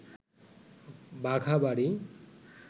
বাঘাবাড়ি